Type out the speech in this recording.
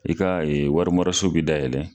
I ka warimaraso bɛ dayɛlɛ.